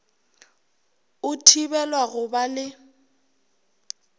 o thibelwa go ba le